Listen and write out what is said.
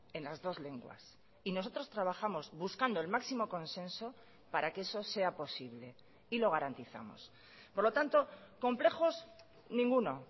en las dos lenguas y nosotros trabajamos buscando el máximo consenso para que eso sea posible y lo garantizamos por lo tanto complejos ninguno